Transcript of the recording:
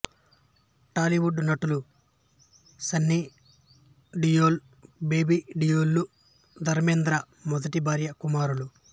బాలీవుడ్ నటులు సన్నీ డియోల్ బాబీ డియోల్ లు ధర్మేంద్ర మొదటి భార్య కుమారులు